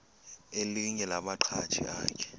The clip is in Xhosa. elinye lamaqhaji akhe